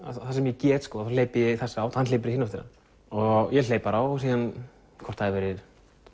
það sem ég get hleyp í þessa átt og hann hleypur í hina áttina og ég hleyp og hvort það voru